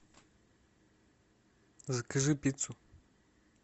закажи пиццу